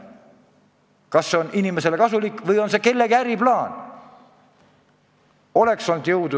Kas see on inimestele kasulik või on see kellegi äriplaan?